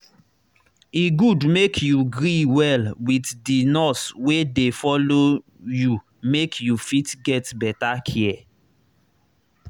e good make you gree well with the nurse wey dey follow you make you fit get better care